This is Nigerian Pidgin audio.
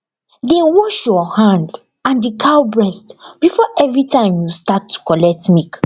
dey wash your hand and the cow breast before everytime you start to collect milk